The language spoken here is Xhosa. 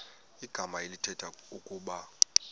igama elithetha ukuba